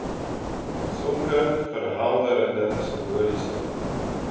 sulke verhelderende simboliese